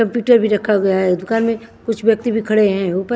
computer भी रखा गया है दुकान में कुछ व्यक्ति भी खड़े है ऊपर--